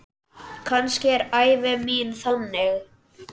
Kannski er ævi mín þannig.